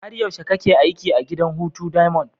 Har yaushe kake aiki a gidan hutu diamond?